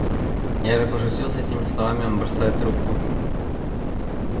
я же пошутил с этими словами он бросает трубку